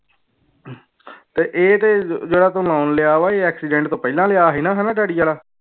ਤੇ ਇਹ ਤੇ ਜਿਹੜਾ ਤੂੰ loan ਲਿਆ ਵਾ ਇਹ accident ਤੋਂ ਪਹਿਲਾਂ ਲਿਆ ਸੀ ਨਾ ਹਨਾ ਡੈਡੀ ਵਾਲਾ